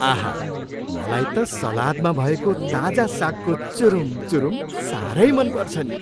आहा! मलाई त सलादमा भएको ताजा सागको चुरुम चुरुम साह्रै मन पर्छ नि।